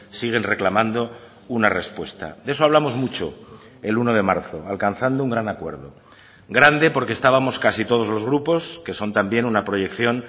siguen reclamando una respuesta de eso hablamos mucho el uno de marzo alcanzando un gran acuerdo grande porque estábamos casi todos los grupos que son también una proyección